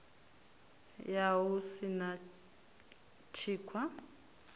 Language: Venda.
ya hu si na thikhwa